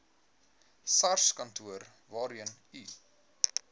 sarskantoor waarheen u